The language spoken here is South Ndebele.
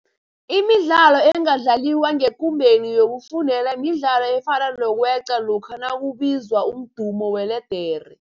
Imidlalo engadlaliwa ngekumbeni yokufundela midlalo efana nokweqa lokha nakubizwa umdumo weledere.